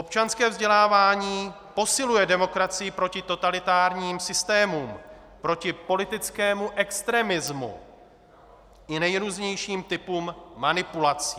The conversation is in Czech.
Občanské vzdělávání posiluje demokracii proti totalitárním systémům, proti politickému extremismu i nejrůznějším typům manipulací.